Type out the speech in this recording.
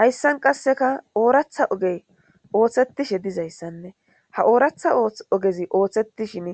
Hayssan qasseka ooratha oge ooththetishe dizayssanne ha ooratha ogezi ooththetishin